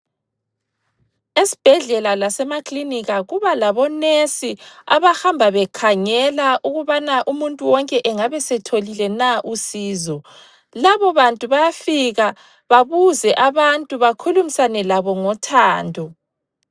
Esibhedlela lasemaklinika kuba labo nesi abahamba bekhangela ukubana umuntu wonke engabesetholile na usizo. Labo bantu bayafika babuze abantu bakhulumisane labo ngothando.